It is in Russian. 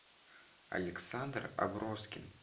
александр аброскин